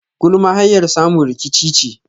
Gulma hanyar samun rikici ne.